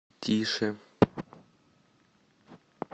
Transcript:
тише